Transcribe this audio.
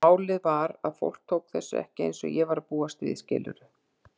Málið var að fólk tók þessu ekki eins og ég var að búast við, skilurðu?